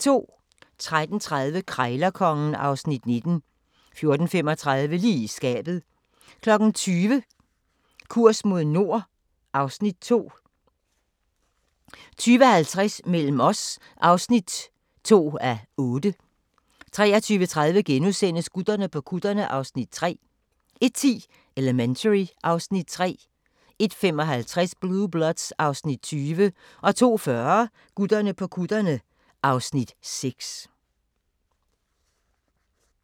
13:30: Krejlerkongen (Afs. 19) 14:35: Lige i skabet 20:00: Kurs mod nord (Afs. 2) 20:50: Mellem os (2:8) 23:30: Gutterne på kutterne (Afs. 3)* 01:10: Elementary (Afs. 3) 01:55: Blue Bloods (Afs. 20) 02:40: Gutterne på kutterne (Afs. 6)